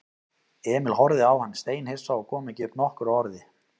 Emil horfði á hann steinhissa og kom ekki upp nokkru orði.